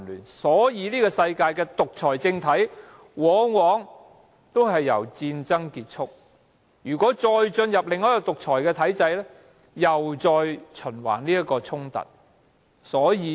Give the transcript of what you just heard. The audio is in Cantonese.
此所以世上的獨裁政體往往也因為戰爭而崩解，如果由另一個獨裁體制掌權，衝突又周而復始。